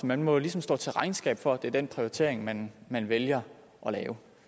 man må ligesom stå til regnskab for at det er den prioritering man man vælger at lave